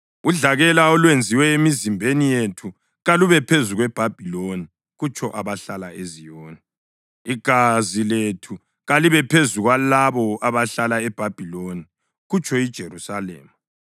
Udlakela olwenziwe emizimbeni yethu kalube phezu kweBhabhiloni,” kutsho abahlala eZiyoni. “Igazi lethu kalibe phezu kwalabo abahlala eBhabhiloni,” kutsho iJerusalema.